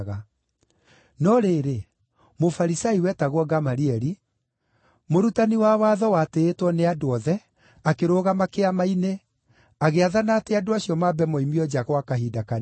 No rĩrĩ, Mũfarisai wetagwo Gamalieli, mũrutani wa watho na watĩĩtwo nĩ andũ othe akĩrũgama Kĩama-inĩ, agĩathana atĩ andũ acio mambe moimio nja gwa kahinda kanini.